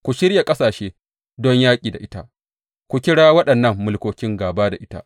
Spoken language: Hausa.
Ku shirya ƙasashe don yaƙi da ita, ku kira waɗannan mulkokin gāba da ita.